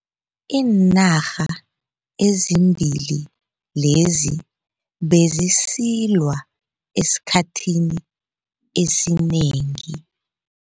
Iinarha ezimbili lezi bezisilwa esikhathini esinengi.